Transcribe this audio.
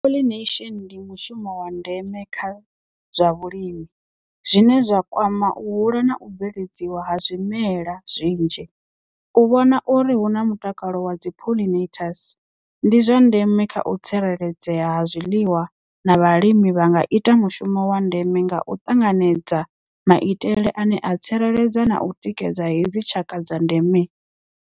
Pollination ndi mushumo wa ndeme kha zwa vhulimi zwine zwa kwama u hula na u bveledziwa ha zwimela zwinzhi u vhona uri hu na mutakalo wa dzi pollinators ndi zwa ndeme kha u tsireledzea ha zwiḽiwa na vhalimi vha nga ita mushumo wa ndeme nga u ṱanganedza maitele ane a tsireledza na u tikedza hedzi tshaka dza ndeme.